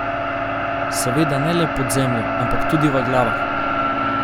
Seveda ne le pod zemljo, ampak tudi v glavah.